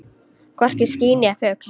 Hvorki ský né fugl.